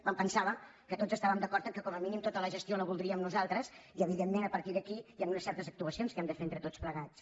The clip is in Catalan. em pensava que tots estàvem d’acord que com a mínim tota la gestió la voldríem nosaltres i evidentment a partir d’aquí hi han unes certes actuacions que hem de fer entre tots plegats